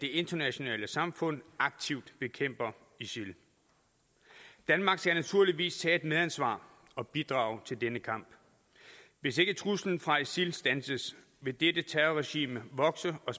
det internationale samfund aktivt bekæmper isil danmark skal naturligvis tage et medansvar og bidrage til denne kamp hvis ikke truslen fra isil standses vil dette terrorregime vokse og